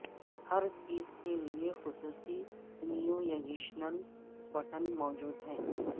ہر چیز کے لئے خصوصی نیویگیشنل بٹن موجود ہیں